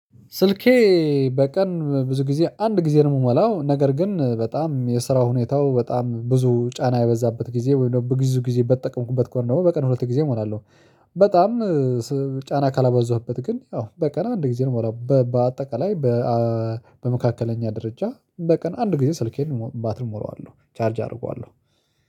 ስልኬ በቀን ብዙ ጊዜ አንድ ጊዜ ነው የምሞላው ነገር ግን በጣም የስራው ሁኔታው በጣም ብዙ ጫና የበዛበት ጊዜ ወይም ብዙ ጊዜ በተጠቀምኩበት ከሆነ ደግሞ በቀን ሁለት ጊዜ እሞራለሁ። በጣም ጫና ካላበዛህበት ግን ያው በቀን አንድ ጊዜ እንሞላለሁ። በአጠቃላይ በመካከለኛ ደረጃ በቀን አንድ ጊዜ ስልኬን ባትሪ እሞላዋለሁ። ቻርጅ አደርገዋለሁ።